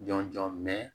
Jɔn jɔn